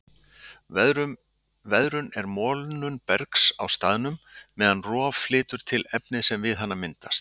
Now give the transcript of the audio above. Veðrun er molnun bergs á staðnum, meðan rof flytur til efnið sem við hana myndast.